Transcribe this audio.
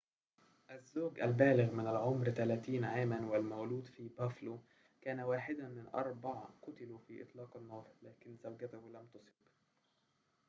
الزوج البالغ من العمر 30 عاماً والمولود في بافلو كان واحداً من أربع قُتلوا في إطلاق النار لكن زوجته لم تُصب